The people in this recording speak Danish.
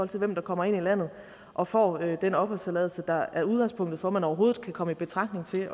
til hvem der kommer ind i landet og får den opholdstilladelse der er udgangspunktet for at man overhovedet kan komme i betragtning til